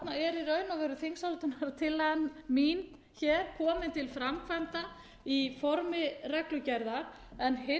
og veru þingsályktunartillagan mín hér komin til framkvæmda í formi reglugerðar hins vegar af